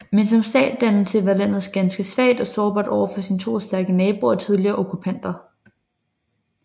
Men som statsdannelse var landet ganske svagt og sårbart over for sine to stærke naboer og tidligere okkupanter